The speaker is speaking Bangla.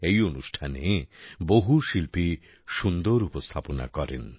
এই অনুষ্ঠানে বহু শিল্পী সুন্দর উপস্থাপনা করেন